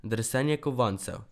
Drsenje kovancev.